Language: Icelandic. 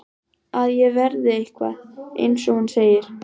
Að ég verði eitthvað, eins og hún segir.